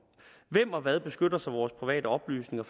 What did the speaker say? hvem og hvad beskytter så vores private oplysninger